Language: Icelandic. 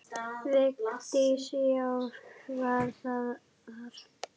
Vigdís: Já, var það þar.